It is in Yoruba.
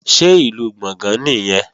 Ṣé Ìlú Gbọ̀ngán nìyẹn?